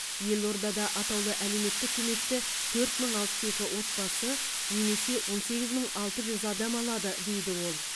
елордада атаулы әлеуметтік көмекті төрт мың алпыс екі отбасы немесе он сегіз мың алты жүз адам алады дейді ол